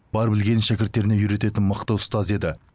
бар білгенін шәкірттеріне үйрететін мықты ұстаз еді